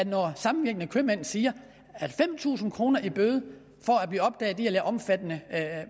når de samvirkende købmænd siger at fem tusind kroner i bøde for at blive opdaget i at lave omfattende